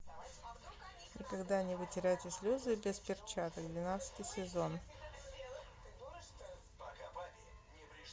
никогда не вытирайте слезы без перчаток двенадцатый сезон